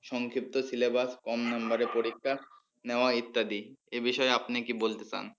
সংক্ষিপ্ত syllabus কম নম্বরে পরীক্ষা নেওয়া ইত্যাদি এ বিষয়ে আপনি কি বলতে চান?